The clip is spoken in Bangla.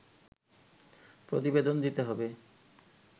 প্রতিবেদন দিতে হবে